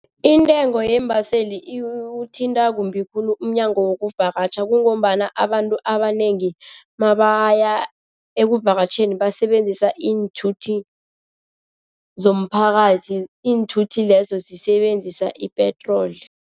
Intengo yeembaseli iwuthinta kumbi khulu umnyango wokuvakatjha kungombana abantu abanengi mabaya ekuvakatjheni basebenzisa iinthuthi zomphakathi iinthuthi lezo zisebenzisa ipetroli.